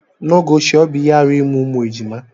n'oge ochie ọ bụ ihe arụ ịmụ ụmụ ejima